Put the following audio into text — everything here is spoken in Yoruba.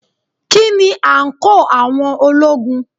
Kí ni àǹkóò àwọn ológun?